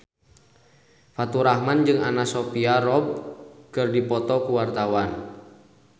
Faturrahman jeung Anna Sophia Robb keur dipoto ku wartawan